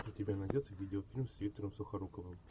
у тебя найдется видео фильм с виктором сухоруковым